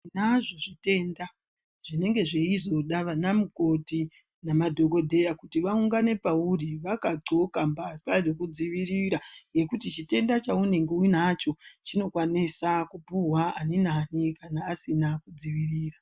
Tinazvo zvitenda zvinenge zveizoda anamukoti nemadhokodheya kuti vaungane pauri vakaqoka mbahla dzekudziirira ngekuti chitenda chaunenge uinacho chinokwanisa kupuhwa ani nani kana asina kudzivirira.